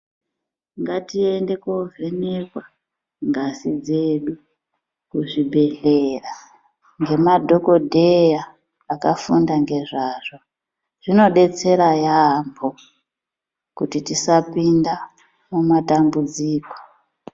Ngatiende kovhenekwa ngazi dzedu kuzvibhedhlera ngemadhokodheya akafunda ngezvazvo zvinodetsera yaambo kuti tisapinda mumatambudziko.